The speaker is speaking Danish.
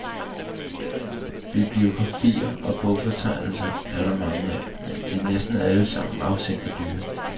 Bibliografier og bogfortegnelser er der mange af, men de er næsten alle sammen afsindig dyre.